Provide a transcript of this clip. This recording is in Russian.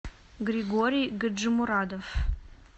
григорий гаджимурадов